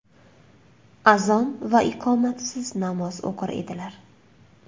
Azon va iqomatsiz namoz o‘qir edilar.